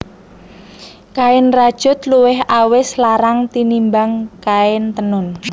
Kain rajut luwih awis larang tinimbang kain tenun